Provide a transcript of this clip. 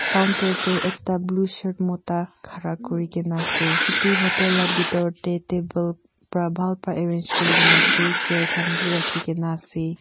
counter teh ekta blue shirt mota khara kuri ke na ase etu hotel lah bithor teh table para bhal para arrange kuri ke na ase chair khan bhi rakhi ke na ase.